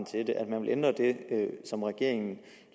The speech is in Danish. til det at man vil ændre det som regeringen